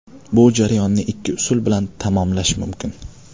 Bu jarayonni ikki usul bilan tamomlash mumkin.